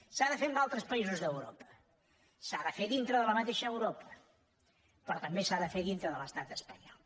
s’ha de fer en altres països d’europa s’ha de fer dintre de la mateixa europa però també s’ha de fer dintre de l’estat espanyol